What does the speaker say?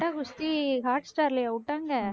கட்டா குஸ்தி ஹாட் ஸ்டார்லயா விட்டாங்க